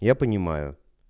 я понимаю